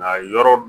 Nka yɔrɔ